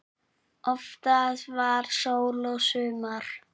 Oftast var sól og sumar.